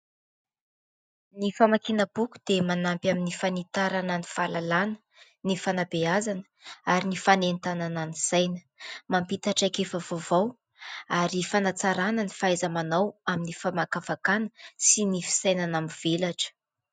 Ny famakiana boky dia manampy amin'ny fanitarana, ny fahalalàna ny fanabeazana ary ny fanentanana ny saina, mampita traikefa vaovao ary fanatsarana ny fahaiza-manao amin'ny famakafakana sy ny fisainana mivelatra.